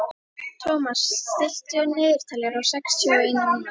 Thomas, stilltu niðurteljara á sextíu og eina mínútur.